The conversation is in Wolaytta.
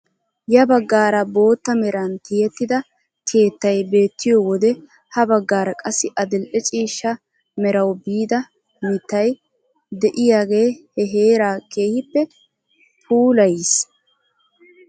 Ya baggaara bootta meran tiyettida keettay beettiyoo wode ha baggaara qassi adil'e ciishsha merawu biida mittay de'iyaage he heeraa keehippe puulayiis!